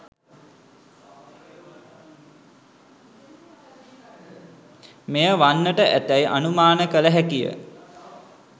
මෙය වන්නට ඇතැයි අනුමාන කළ හැකිය.